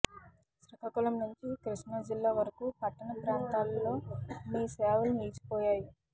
శ్రీకాకుళం నుంచి కృష్ణా జిల్లా వరకూ పట్టణ ప్రాంతాల్లో మీ సేవలు నిలిచిపోయాయి